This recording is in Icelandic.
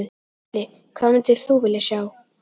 Gísli: Hvað myndir þú vilja sjá?